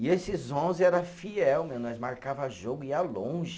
E esses onze era fiel mesmo, nós marcava jogo e ia longe.